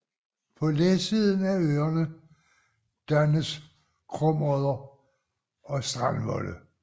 På læsiden af øerne dannes krumodder og strandvolde